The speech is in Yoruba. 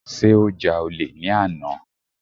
Sé ó ja olè ní àná.